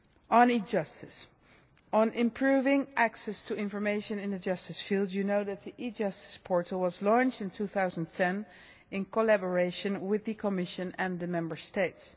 On e Justice, on improving access to information in the justice field you know that the e Justice Portal was launched in 2010 in collaboration with the Commission and the Member States.